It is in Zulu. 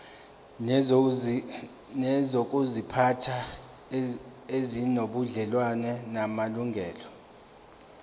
nezokuziphatha ezinobudlelwano namalungelo